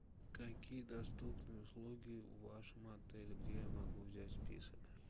какие доступны услуги в вашем отеле где я могу взять список